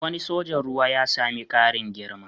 Wani sojan ruwa ya sami ƙarin girma